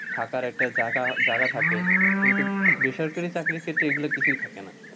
থাকার একটা জায়গ, জায়গা থাকে, কিন্তু বেসরকারি চাকরির ক্ষেত্রে এগুলো কিছুই থাকেনা।